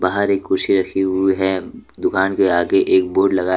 बाहर एक कुर्सी रखी हुई है दुकान के आगे एक बोर्ड लगा --